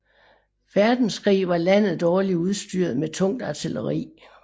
Verdenskrig var landet dårligt udstyret med tungt artilleri